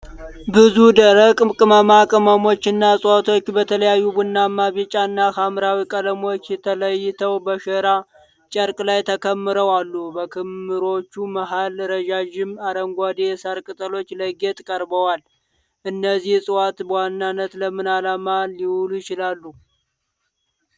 ብዙ ደረቅ ቅመማ ቅመሞች እና ዕፅዋት በተለያየ ቡናማ፣ ቢጫ እና ሐምራዊ ቀለሞች ተለይተው በሸራ ጨርቅ ላይ ተከምረው አሉ። በክምሮቹ መሃል ረዣዥም አረንጓዴ የሳር ቅጠሎች ለጌጥ ቀርበዋል። እነዚህ ዕፅዋት በዋናነት ለምን ዓላማ ሊውሉ ይችላሉ?